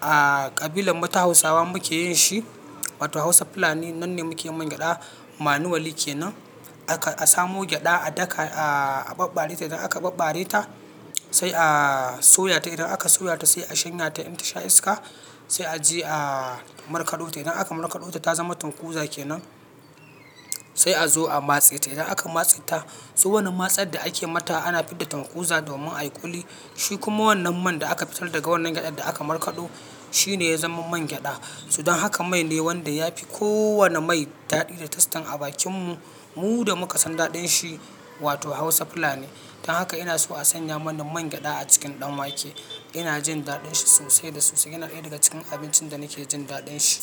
a ƙabilan mu ta hausawa muke yin shi wato hausa fulani nan ne muke mangyaɗa manu wali kenan. Aka a samo gyaɗa a daka a, aɓɓare ta idan aka ɓaɓbare ta sai a soya ta. Idan aka soya ta sai a shanye ta in ta sha iska sai a je a markaɗo ta. Idan aka markaɗo ta ta zama tunkuza kenan sai a zo a matse ta. Idan aka matse ta so wannan matsar da ake mata ana fidda tankuza domin a kuli. Shi kuma wannan man da aka fitar daga wannan gyaɗa da aka markaɗo shi ne ya zama mangyaɗa. To dan haka mai ne wanda ya fi ko wane mai daɗi da tastan a bakin mu. Mu da muka san daɗin shi wato hausa fulani. Dan haka ina so a sanya mani mangyaɗa a cikin ɗan wake. Ina jin daɗin shi sosai da sosai. Yana ɗaya daga cikin abincin da nake jin daɗin shi.